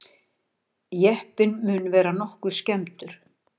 Jeppinn mun vera nokkuð skemmdur